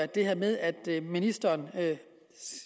det her med at ministeren